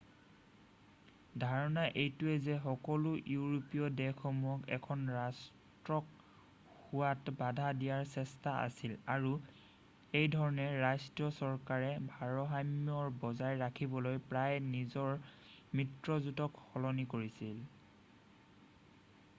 "ধাৰণা এইটোও যে সকলো ইউৰোপীয় দেশসমূহক এখন ৰাষ্ট্ৰক হোৱাত বাধা দিয়াৰ চেষ্টা আছিল আৰু এইধৰণে ৰাষ্ট্ৰীয় চৰকাৰে ভাৰসাম্য বজাই ৰাখিবলৈ প্ৰায়েই নিজৰ মিত্ৰজোটক সলনি কৰিছিল ।""